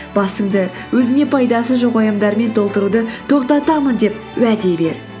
басыңды өзіңе пайдасы жоқ уайымдармен толтыруды тоқтатамын деп уәде бер